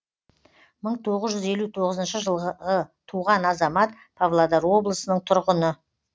мың тоғыз жүз елу тоғызыншы жылғы туған азамат павлодар облысының тұрғыны